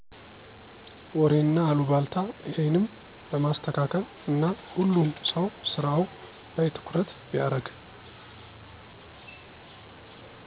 ወሬና አሉባልታ እሄንም ለማስተካለል እና ሁሉም ሰው ስራው ላይ ትኩረት ቢያርግ